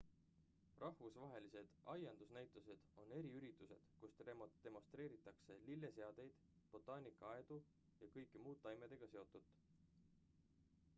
rahvusvahelised aiandusnäitused on eriüritused kus demonstreeritakse lilleseadeid botaanikaaedu ja kõike muud taimedega seotut